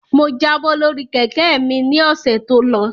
Mo jábọ́ lórí Kẹ̀kẹ́ mi ni ọ̀sẹ̀ tó lọ